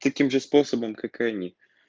таким же способом как и они